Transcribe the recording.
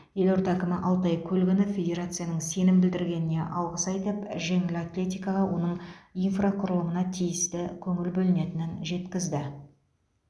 елорда әкімі алтай көлгінов федерацияның сенім білдіргеніне алғыс айтып жеңіл атлетикаға оның инфрақұрылымына тиісті көңіл бөлінетінін жеткізді